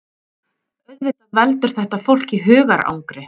Auðvitað veldur þetta fólki hugarangri